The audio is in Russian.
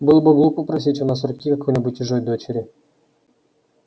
было бы глупо просить у нас руки какой-нибудь чужой дочери